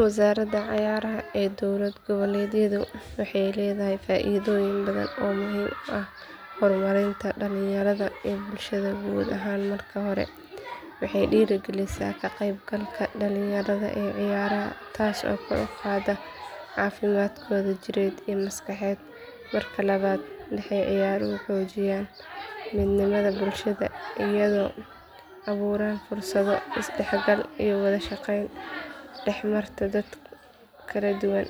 Wazarada cayaraha ee dowlad gaboledyadho waxay ledhahay faidho weynan badhan oo Mel ah hormarinta dalanyaradho in bulshadha wadha ahaan marki hora waxey diragilisa qaybkalka dalanyaradho ee ciyaraha taaso kor uqada cafimaadkodha jired iya maskaxeed. Waa marki labad dexa ciyaraha xoogiyan midnimadha bulshadha iyadho aburaan fursadho isdaxgal iyo wadha shaqeyn dexmarta dadka kaladuwan.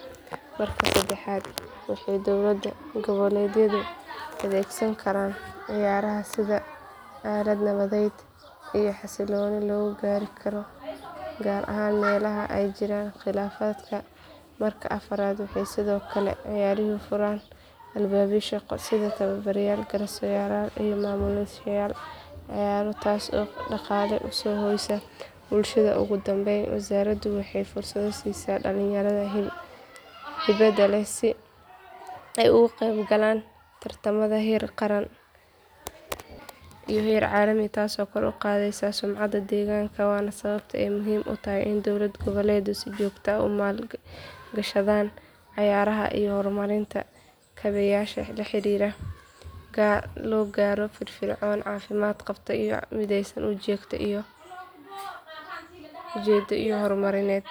Marka sadaxad waxey dowlada gaboledyadho adeegsan Karan ciyaraha sidha alad nabadhed iyo xasiloni loga gaari Karo gaar ahaan melaha ay jiraan khilafadka. Marka afarad waxay sidhokale ciyaruhu furaan albabyo shaqo iyo sidhi tawabarad garas yaal ciyaran iyo mamulis yaal. ciyartaas oo daqala uso hoysa bulshadho ugudambeyn wazarado waxay fursadho sisa dalanyaradho heybado leh si ay ugu qeyb galan tartamadha heer qaran iyo heer calimi taaso oo kor uqatheysa sumcada deeganka Wana sawabta ay muhim utahay in dowlad gaboled si jogta umaalgishadhan ciyaraha iyo hormarinta gabeyasha laxiriro sidhi logaaro firfir cawn iyo cafimaad qabta iyo midheysan u jeda iyo hormarinyed.